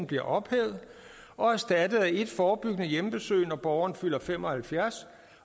bliver ophævet og erstattet af et forebyggende hjemmebesøg når borgeren fylder fem og halvfjerds